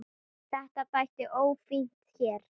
Þetta þætti ófínt hér.